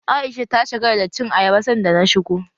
Aisha ta shagala da cin ayaba sanda na shigo.